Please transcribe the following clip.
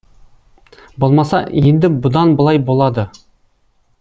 болмаса енді бұдан былай болады